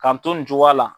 K'an to nin cogoya la